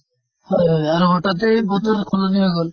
হয় হয়। আৰু হঠাতে বতৰ সলনি হৈ গʼল।